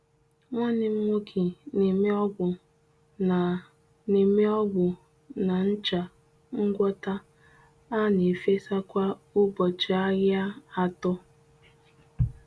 Nwanne m nwoke na-eme ogbu na na-eme ogbu na ncha ngwọta a na efesa kwa ụbọchị ahia atọ.